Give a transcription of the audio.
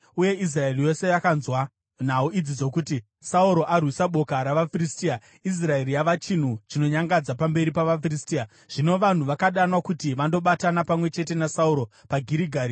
Uye Israeri yose yakanzwa nhau idzi dzokuti, “Sauro arwisa boka ravaFiristia, Israeri yava chinhu chinonyangadza pamberi pavaFiristia.” Zvino vanhu vakadanwa kuti vandobatana pamwe chete naSauro paGirigari.